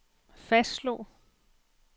fastslog